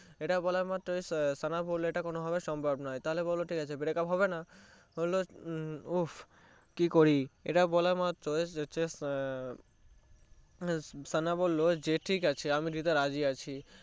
এটা বলা মাত্রই সানা বললো এটা কোনোভাবেই সম্ভব নয় তাহলে বলো breakup ঠিকাছে হবেনা বলে উহ কি করি এটা বলা মাত্রই সানা বললো ঠিকাছে আমি দিতে রাজী আছি